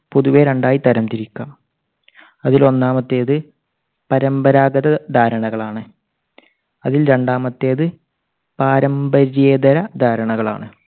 പൊതുവേ രണ്ടായി തരം തിരിക്കാം. അതിൽ ഒന്നാമത്തേത് പരമ്പരാഗത ധാരണകളാണ്. അതിൽ രണ്ടാമത്തേത് പാരമ്പര്യേതര ധാരണകളാണ്.